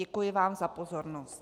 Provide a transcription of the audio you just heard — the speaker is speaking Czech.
Děkuji vám za pozornost.